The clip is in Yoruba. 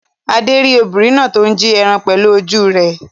Adé rí obìnrin náà tó ní jí ẹran pẹ̀lú ojú rẹ̀.